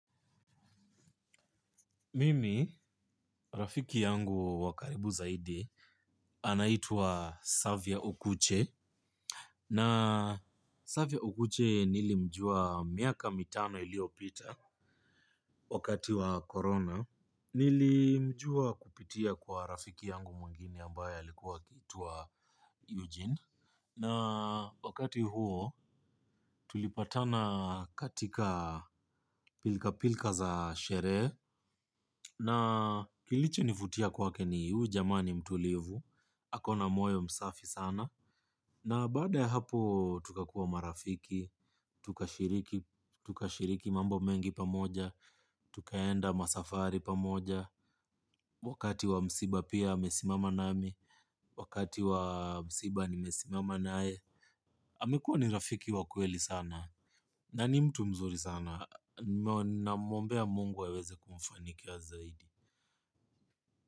Mimi rafiki yangu wakaribu zaidi anaitua Savya Okuche na Savya Okuche nilimjua miaka mitano ilio pita wakati wa corona nilimjua kupitia kwa rafiki yangu mwengine ambaye alikuwa kituwa Eugene. Na wakati huo tulipatana katika pilka pilka za sherehe. Na kilicho nivutia kwake ni ujamani mtulivu. Hakona moyo msafi sana. Na baada ya hapo tukakuwa marafiki. Tukashiriki mambo mengi pamoja. Tukaenda masafari pamoja. Wakati wa msiba pia amesimama nami. Wakati wa msiba nimesimama naye. Amekuwa ni rafiki wakweli sana. Na ni mtu mzuri sana. Na muombea mungu waweze kumfaniki ya zaidi.